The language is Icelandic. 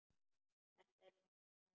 Þetta er minn staður.